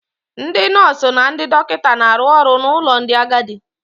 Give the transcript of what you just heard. Ndị nọọsụ na ndị dọkịta na-arụ ọrụ n'ụlọ ndị agadi.